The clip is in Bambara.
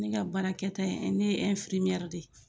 Ne ka baarakɛta ne ye de ye